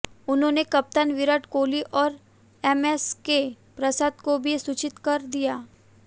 उन्होंने कप्तान विराट कोहली और एमएसके प्रसाद को भी सूचित कर दिया